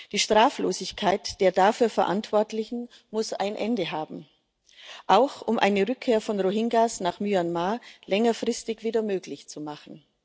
Die Straflosigkeit der dafür Verantwortlichen muss ein Ende haben, auch um eine Rückkehr der Rohingya nach Myanmar längerfristig wieder möglich zu machen.